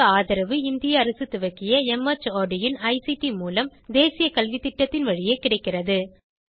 இதற்கு ஆதரவு இந்திய அரசு துவக்கிய மார்ட் இன் ஐசிடி மூலம் தேசிய கல்வித்திட்டத்தின் வழியே கிடைக்கிறது